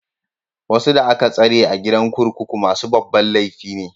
Wasu da aka tsare a gidan kurkuku masu babban laifi ne.